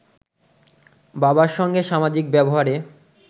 বাবার সঙ্গে সামাজিক ব্যবহারে